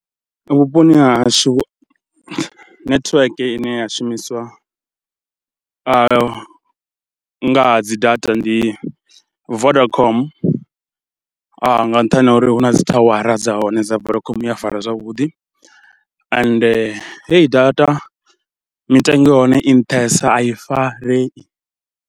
Vhuponi ha hashu netiweke ine ya shumiswa nga ha dzi data ndi Vodacom nga nṱhani ha uri hu na dzi thawara dza hone dza Vodacom, i a fara zwavhuḓi ende hei data mitengo ya hone i nṱhesa a i farei.